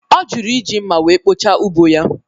Ọ jụrụ iji mma wee kpochaa ugbo ya